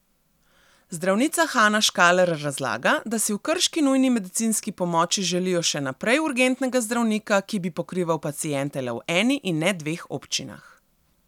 Zdravnica Hana Škaler razlaga, da si v krški nujni medicinski pomoči želijo še naprej urgentnega zdravnika, ki bi pokrival paciente le v eni in ne dveh občinah.